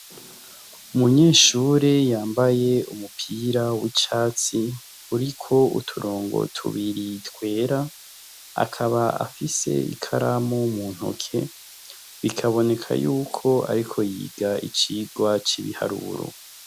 Umunyeshure yambaye umupira w'icatsi uriko uturongo tubiriy twera akaba afise ikaramu mu ntoke bikaboneka yuko, ariko yiga icirwa c'ibiharuru.